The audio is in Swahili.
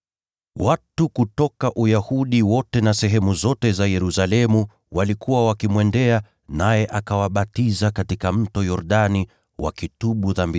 Watu kutoka Uyahudi wote na sehemu zote za Yerusalemu walikuwa wakimwendea. Nao wakaziungama dhambi zao, akawabatiza katika Mto Yordani.